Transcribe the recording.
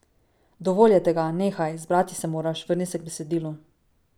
Dovolj je tega, nehaj, zbrati se moraš, vrni se k besedilu.